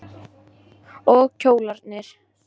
Og kjólarnir.